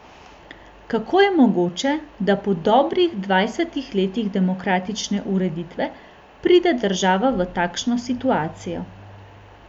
Kako je mogoče, da po dobrih dvajsetih letih demokratične ureditve pride država v takšno situacijo?